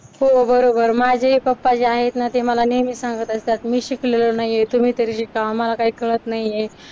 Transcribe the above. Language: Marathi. हो बरोबर माझेही जे आहेत ना ते मला नेहमी सांगत असतात मी शिकलो नाहीये तुम्ही तरी शिका आम्हाला काही कळत नाहीये